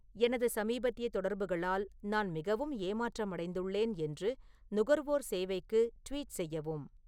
எனது சமீபத்திய தொடர்புகளால் நான் மிகவும் ஏமாற்றமடைந்துள்ளேன் என்று நுகர்வோர் சேவைக்கு ட்வீட் செய்யவும்